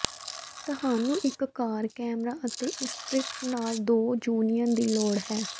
ਤੁਹਾਨੂੰ ਇੱਕ car camera ਅਤੇ ਇਸਕ੍ਰਿਪਟ ਨਾਲ ਦੋ ਯੂਨੀਅਨ ਦੀ ਲੋੜ ਹੈ